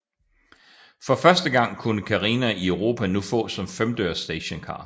For første gang kunne Carina i Europa nu fås som femdørs stationcar